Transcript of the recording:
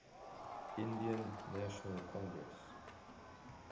indian national congress